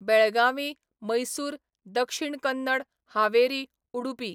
Belagavi, Mysore, Dakshina Kannada, Haveri, Udupi